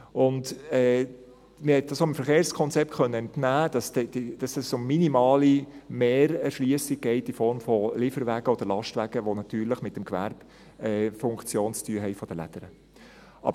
Und man konnte dem Verkehrskonzept entnehmen, dass es dort um minimale Mehrerschliessung geht, in der Form von Lieferwagen oder Lastwagen, die natürlich mit der Gewerbefunktion der «Lädere» zu tun haben.